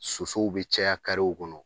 Sosow bi caya kɔnɔ